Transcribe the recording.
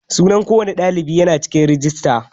Sunan ko wani ɗalibi yana cikin rajista